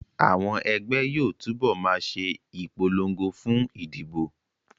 Àwọn ẹgbẹ́ yóò túbọ̀ ma ṣe ìpolongo fún ìdìbò